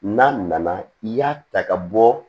N'a nana i y'a ta ka bɔ